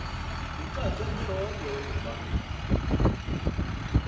kucace mhlophe ukuba